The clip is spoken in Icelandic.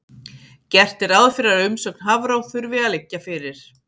Gert er ráð fyrir að umsögn Hafró þurfi að liggja fyrir.